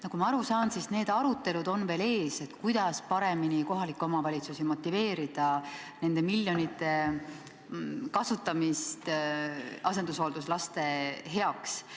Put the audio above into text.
Nagu ma aru saan, siis need arutelud on veel ees, kuidas paremini kohalikke omavalitsusi motiveerida neid miljoneid kasutama asendushoolduslaste heaks.